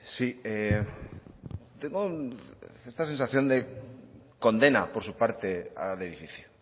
sí tengo cierta sensación de condena por su parte al edificio